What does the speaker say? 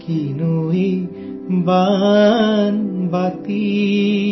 कैसी है ये छोटी सी कटोरी